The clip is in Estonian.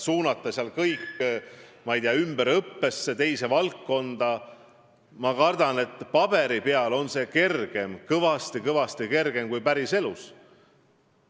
Suunata seal kõik, ma ei tea, ümberõppesse, teise valdkonda – ma arvan, et paberi peal on see kõvasti-kõvasti kergem kui päris elus.